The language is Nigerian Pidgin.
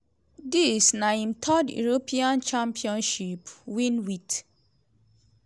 dis na im third european championship win wit